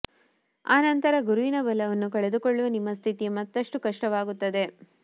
ಆ ನಂತರ ಗುರುವಿನ ಬಲವನ್ನೂ ಕಳೆದುಕೊಳ್ಳುವ ನಿಮ್ಮ ಸ್ಥಿತಿ ಮತ್ತಷ್ಟು ಕಷ್ಟವಾಗುತ್ತದೆ